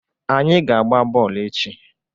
Anyị ga-agba bọọlụ echi.